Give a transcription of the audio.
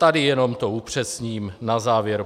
Tady jenom to upřesním na závěr.